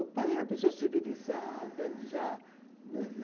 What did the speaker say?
O pai é uma pessoa civilizada... Já